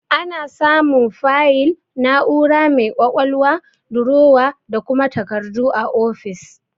Ana samun fayil, na'ura mai ƙwaƙwalwa, durowa, da kuma takardu a ofis.